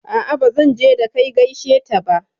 A'a bazan je da kai gaishe ta ba